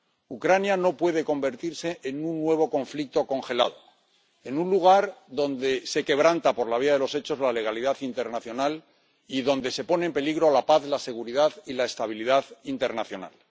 Ucrania no puede convertirse en un nuevo conflicto congelado, en un lugar donde se quebranta por la vía de los hechos la legalidad internacional y donde se ponen en peligro la paz, la seguridad y la estabilidad internacional.